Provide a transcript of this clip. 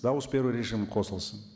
дауыс беру режимі қосылсын